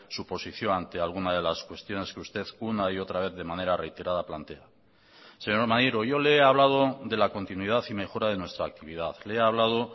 su posición ante alguna de las cuestiones que usted una y otra vez de manera reiterada plantea señor maneiro yo le he hablado de la continuidad y mejora de nuestra actividad le he hablado